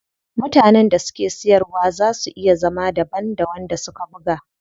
Mutanen da suke siyarwa zaa su iya zama daban da wanda suka buga.